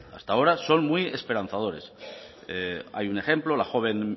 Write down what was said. hasta ahora son muy esperanzadores hay un ejemplo la joven